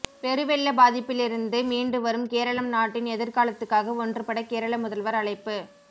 பெருவெள்ள பாதிப்பிலிருந்து மீண்டுவரும் கேரளம் நாட்டின் எதிர்காலத்துக்காக ஒன்றுபட கேரள முதல்வர் அழைப்பு